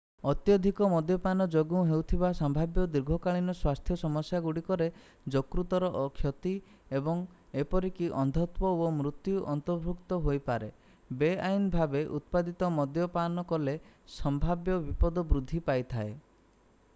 ଅତ୍ୟଧିକ ମଦ୍ୟପାନ ଯୋଗୁଁ ହେଉଥିବା ସମ୍ଭାବ୍ୟ ଦୀର୍ଘକାଳୀନ ସ୍ୱାସ୍ଥ୍ୟ ସମସ୍ୟାଗୁଡ଼ିକରେ ଯକୃତର କ୍ଷତି ଏବଂ ଏପରିକି ଅନ୍ଧତ୍ୱ ଓ ମୃତ୍ୟୁ ଅନ୍ତର୍ଭୁକ୍ତ ହୋଇପାରେ ବେଆଇନ ଭାବେ ଉତ୍ପାଦିତ ମଦ୍ୟ ପାନ କଲେ ସମ୍ଭାବ୍ୟ ବିପଦ ବୃଦ୍ଧି ପାଇଥାଏ